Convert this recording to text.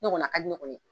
Ne kɔni a ka di ne kɔni ye